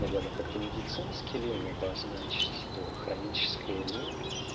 как-то медицинский лень обозначить это хроническая лень